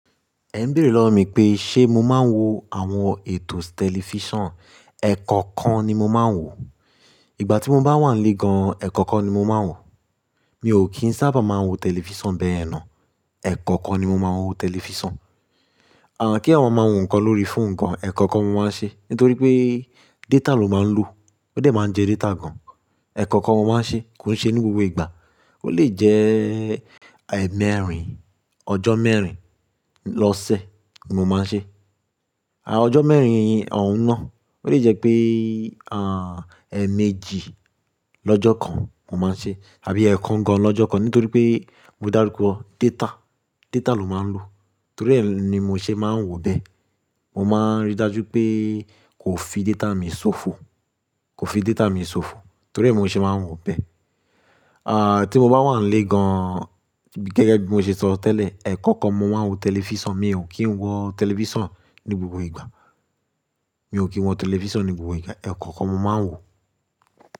Ẹ ń béèrè lọ́wọ́ mi pé ṣe mo máa ń wo àwọn ètò tẹlifíṣàn. Ẹ̀kọ̀kan ni mo máa ń wò. Ìgbà tí mo bá wà nílé gan, ẹ̀kọ̀kan ni mo máa ń wò. Mi ò kí ń sábà máa ń wo tẹlifíṣàn bẹ́yẹ̀n ná. Ẹ̀kọ̀kan ni mo máa ń wo tẹlifíṣàn. Àn, kí àwọn máa ń wo nǹkan lórí fóònù kan, ẹ̀kọ̀kan ni mo máa ń ṣe. Nítorí pé data ló máa ń lò. Ó dẹ̀ máa ń jẹ data gan. Ẹ̀kọ̀kan mo máa ń ṣe, kò ṣe ní gbogbo ìgbà. Ó lè jẹ́, e mẹ́rin, ọjọ́ mẹ́rin lọ́sẹ̀ ni mo máa ń ṣe. Àn ọjọ́ mẹ́rin òún ná, ó lè jẹ́ pé, àn, ẹ́ méjì lọ́jọ́ kan mo máa ń ṣe àbí ẹ́ kan gan lọ́jọ́ kan nítorí pé mo dáruko data, data ló máa ń lò. Torí ẹ́ ni mo ṣe máa ń wò bẹ́ẹ̀. Mo máa ń rí i dájú pé kò fi data mi ṣòfò, kò fi data mi ṣòfò. Torí ẹ́ mo ṣe máa ń wò bẹ́ẹ̀. À tí mo bá wà nílé gan, gẹ́gẹ́ bí mo ṣe sọ tẹ́lẹ̀, ẹ̀kọ̀kan mo máa ń wo tẹlifíṣàn. Mi ò kí ń wo tẹlifíṣàn ní gbogbo ìgbà. Mi ò kí ń wo tẹlifíṣàn ní gbogbo ìgbà. Ẹ̀kọ̀kan mo máa ń wò.